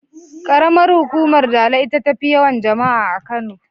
Ƙaramar hukumar Dala ita tafi yawan jama'a a Kano.